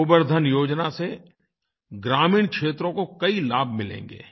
गोबर धन योजना से ग्रामीण क्षेत्रों को कई लाभ मिलेंगे